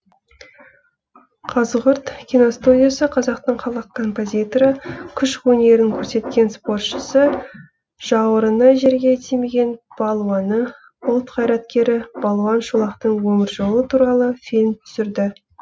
қазығұрт киностудиясы қазақтың халық композиторы күш өнерін көрсеткен спортшысы жауырыны жерге тимеген балуаны ұлт қайраткері балуан шолақтың өмір жолы туралы фильм түсірді